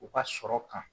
U ka sɔrɔ kan